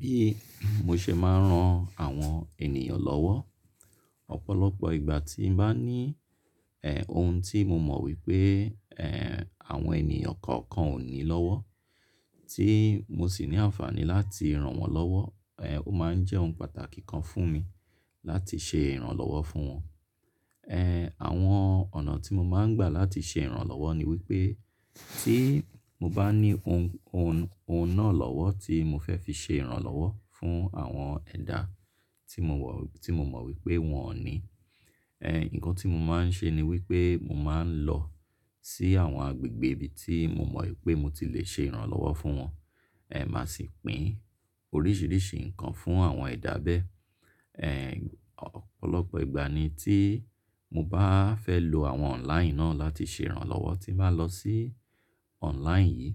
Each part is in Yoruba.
Bí mo ṣe máa ń ran àwọn ènìyàn lọ́wọ́, ọ̀pọ̀lọpọ̀ ìgbà tí n bá ní eh ohun tí mo mọ̀ wípé eh àwọn ènìyàn kọ̀ọ̀kan ò ní lọ́wọ́ tí mo sì ní àǹfààní láti ràn wọ́n lọ́wọ́, eh o máa ń jẹ́ ohun pàtàkì kan fún mi láti ṣe ìrànlọ́wọ́ fún wọn. Eh àwọn ọ̀nà tí mo máa ń gbà láti ṣe ìrànlọ́wọ́ ni wípé tí mo bá ní ohun, ohun, ohun náà lọ́wọ́ tí mo fẹ́ fi ṣe ìrànlọ́wọ́ fún àwọn ẹ̀dá tí mo wọ̀, tí mo mọ̀ wípé wọn ò ní, eh nǹkan tí mo máa ń ṣe ni wípé mo máa ń lọ sí àwọn agbègbè ibi tí mo mọ̀ wípé mo ti lè ṣe ìrànlọ́wọ́ fún wọn, eh màá sì pín oríṣìíríṣìí nǹkan fún àwọn ẹ̀dá bẹ́ẹ̀. Eh ọ̀pọ̀lọpọ̀ ìgbà ni tí mo bá fẹ́ lo àwọn online náà láti ṣe ìrànlọ́wọ́, tí n bá lọ sí online yìí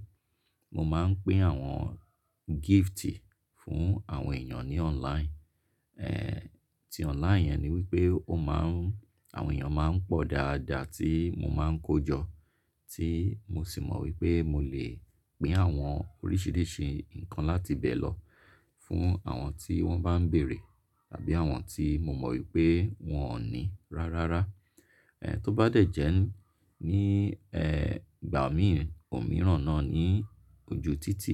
mo máa ń pín àwọn gift fún àwọn ènìyàn ní online. Eh tí online yẹn ni wípé ó má ń àwọn ènìyàn máa ń pọ̀ dáadáa tí mo máa ń kójọ tí mo sì mọ̀ wípé mo lè pín àwọn oríṣìíríṣìí nǹkan láti bẹ̀ lọ fún àwọn tí wọ́n bá ń bèrè tàbí àwọn tí mo mọ̀ wípé wọn ò ní rárára. Eh tó bá dẹ̀ jẹ́ ní eh ìgbà mìíràn, òmíràn náà ní ojú títì,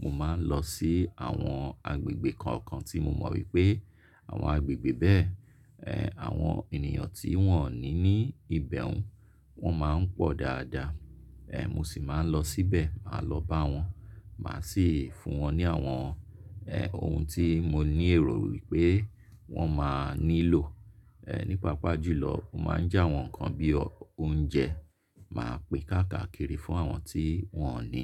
mo máa ń lọ sí àwọn agbègbè kọ̀ọ̀kan tí mo mọ̀ wípé àwọn agbègbè bẹ́ẹ̀ eh àwọn ènìyàn tí wọ́n ò ní ní ìbẹ̀ún. Wọ́n máa ń pọ̀ dáadáa. Eh mo sì máa ń lọ síbẹ̀, màá lọ bá wọn, màá sì fún wọn ní àwọn eh ohun tí mo ní èrò wípé wọn máa nílò. Eh nípa apá jù lọ, mo máa ń já àwọn nǹkan bí i oúnjẹ, màá pín káàkiri fún àwọn tí wọn ò ní.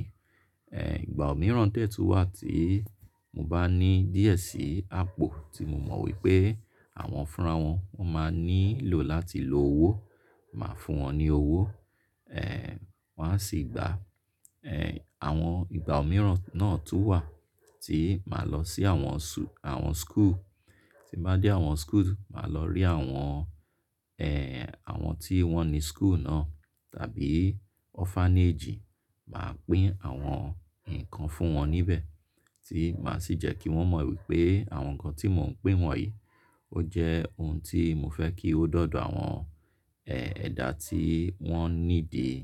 Eh ìgbà òmíràn tẹ́ tu wà tí mo bá ní díẹ̀ sí àpò tí mo mọ̀ wípé àwọn fúnra wọn, wọ́n máa nílò láti lo owó, màá fún wọn ní owó. Eh wọ́n á sì gbà. Eh àwọn ìgbà òmíràn náà tún wà tí màá lọ sí àwọn su àwọn school. Tí bá dé àwọn school, màá lọ rí àwọn eh àwọn tí wọ́n ní school náà tàbí orphanage, màá pín àwọn nǹkan fún wọn níbẹ̀ tí màá sì jẹ́ kí wọ́n mọ̀ wípé àwọn nǹkan tí mò ń pín wọn yìí ó jẹ́ ohun tí mo fẹ́ kí ó dọ̀dọ̀ àwọn eh ẹ̀dá tí wọ́n nídìí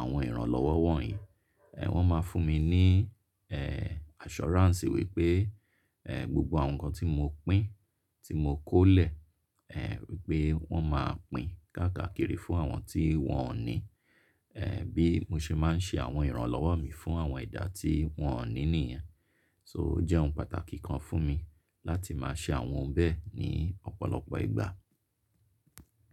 àwọn ìrànlọ́wọ́ wọ̀nyí. Eh wọ́n máa fún mi ní eh assurance wípé eh gbogbo àwọn nǹkan tí mo pín, tí mo kó lẹ̀ eh wípé wọ́n màá pín káàkiri fún àwọn tí wọn ò ní. Eh bí mo ṣe máa ń ṣe àwọn ìrànlọ́wọ́ mi fún àwọn ẹ̀dá tí wọn ò ní nìyẹn. So ó jẹ́ ohun pàtàkì kan fún mi láti máa ṣe àwọn ohun bẹ́ẹ̀ ní ọ̀pọ̀lọpọ̀ ìgbà.